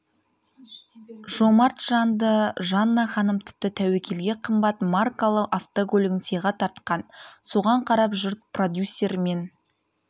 жомарт жанды жанна ханым тіпті тәуекелге қымбат маркалы автокөлігін сыйға тартқан соған қарап жұрт продюсер мен